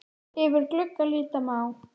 Yfir glugga líta má.